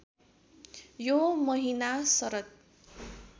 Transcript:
यो महिना शरद